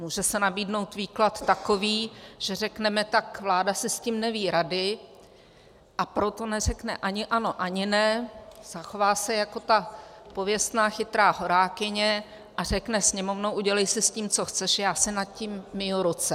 Může se nabídnout výklad takový, že řekneme tak, vláda si s tím neví rady, a proto neřekne ani ano, ani ne, zachová se jako ta pověstná chytrá horákyně a řekne Sněmovno, udělej si s tím, co chceš, já si nad tím myji ruce.